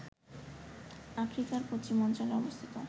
আফ্রিকার পশ্চিমাঞ্চলে অবস্থিত